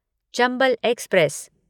Chambal express